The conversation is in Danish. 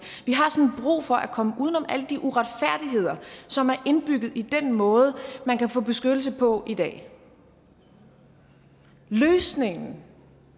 vi har sådan brug for at komme uden om alle de uretfærdigheder som er indbygget i den måde man kan få beskyttelse på i dag løsningen